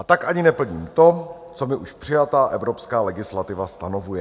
A tak ani neplním to, co mi už přijatá evropská legislativa stanovuje.